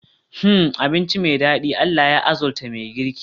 Hmmm! Abinci me dadi, Allah ya arzuta mai girki